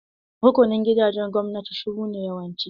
Rukunin gidajen gwamnati shuru ne yawanci.